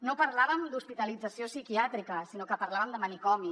no parlàvem d’hospitalització psiquiàtrica sinó que parlàvem de manicomi